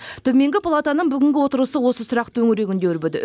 төменгі палатаның бүгінгі отырысы осы сұрақ төңірегінде өрбіді